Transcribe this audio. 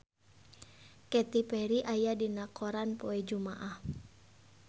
Katy Perry aya dina koran poe Jumaah